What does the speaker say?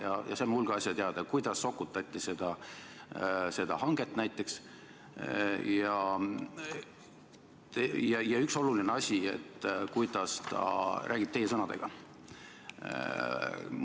Ja me saime hulga asju teada, kuidas sokutati seda hanget näiteks, ja veel üks oluline asi, kuidas ta räägib teie sõnadega.